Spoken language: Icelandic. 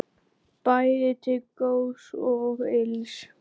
Bæði til góðs og ills.